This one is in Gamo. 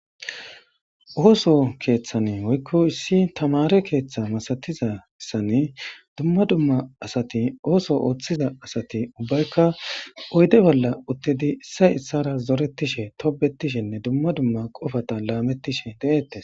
Ooso keeththane woykko issi tamare keeththa masatizasan dumma dumma asati ooso ooththiza asati ubbaykka oyde bolla uttedi issay issara zoretishe tobetishenne dumma dumma qofata laamettishe de7ettes.